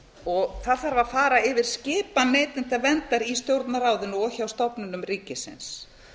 það þarf að fara yfir skipan neytendaverndar í stjórnarráðinu og hjá stofnunum ríkisins